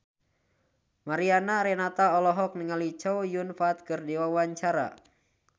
Mariana Renata olohok ningali Chow Yun Fat keur diwawancara